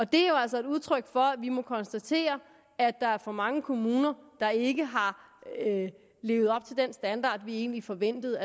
det er jo altså et udtryk for at vi må konstatere at der er for mange kommuner der ikke har levet op til den standard vi egentlig forventede